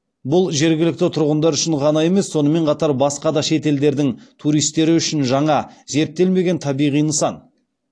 бұл жергілікті тұрғындар үшін ғана емес сонымен қатар басқа да шет елдердің туристері үшін жаңа зерттелмеген табиғи нысан